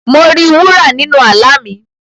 Mo ri wúrà nínu àlá mi.